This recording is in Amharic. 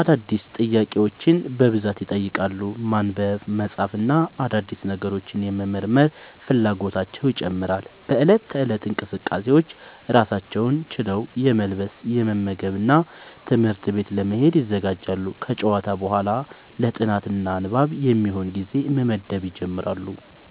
አዳዲስ ጥያቄዎችን በብዛት ይጠይቃሉ። ማንበብ፣ መጻፍ እና አዳዲስ ነገሮችን የመመርመር ፍላጎታቸው ይጨምራል።. በእለት ተእለት እንቅስቃሴዎች: ራሳቸውን ችለው የመልበስ፣ የመመገብ እና ትምህርት ቤት ለመሄድ ይዘጋጃሉ። ከጨዋታ በኋላ ለ ጥናት እና ንባብ የሚሆን ጊዜ መመደብ ይጀምራሉ።